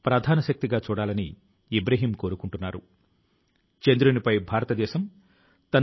అయితే ఈ రోజు న నేను చెప్పాలనుకొంటున్నాను ఆయన యావత్తు దేశాని కి స్ఫూర్తిని ఇచ్చారు